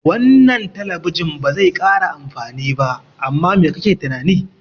Wannan talabijin bazai kara amfani ba, amma mai kake tunani?